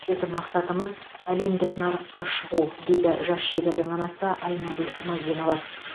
біздің мақсатымыз әлемдік нарыққа шығу дейді жас шебердің анасы айнагүл мазинова